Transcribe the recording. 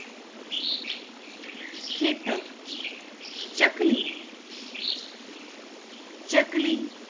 ખેતર ચકલી ચકલી